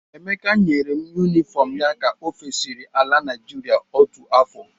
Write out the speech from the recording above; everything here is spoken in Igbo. Emeka nyere m yunifọmụ ya ka o fesiri ala Naịjirịa otu afọ.